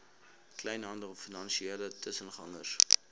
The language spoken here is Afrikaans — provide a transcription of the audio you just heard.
kleinhandel finansiële tussengangers